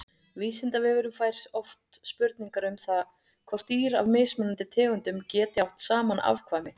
Vísindavefurinn fær oft spurningar um það hvort dýr af mismunandi tegundum geti átt saman afkvæmi.